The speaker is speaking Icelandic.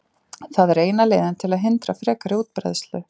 það er eina leiðin til að hindra frekari útbreiðslu